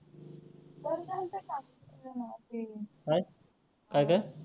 काय, काय काय?